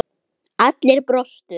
Allir brostu.